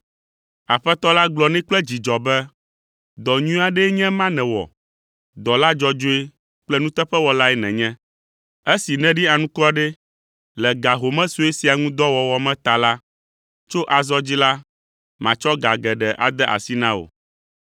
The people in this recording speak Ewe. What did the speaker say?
“Aƒetɔ la gblɔ nɛ kple dzidzɔ be, ‘Dɔ nyui aɖee nye ema nèwɔ. Dɔla dzɔdzɔe kple nuteƒewɔlae nènye. Esi nèɖi anukware le ga home sue sia ŋu dɔ wɔwɔ me ta la, tso azɔ dzi la, matsɔ ga geɖe ade asi na wò.’